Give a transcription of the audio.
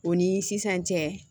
O ni sisan cɛ